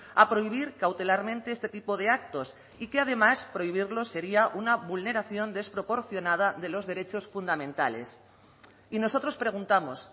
a prohibir cautelarmente este tipo de actos y que además prohibirlos sería una vulneración desproporcionada de los derechos fundamentales y nosotros preguntamos